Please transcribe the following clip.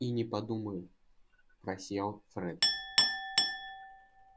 и не подумаю просиял фред